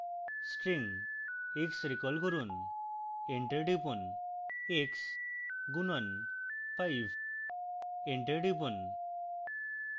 x string recall করুন